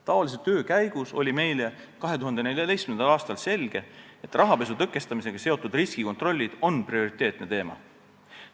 Taolise töö käigus sai meile 2014. aastal selgeks, et rahapesu tõkestamisega seotud riskikontrollid on prioriteetne teema.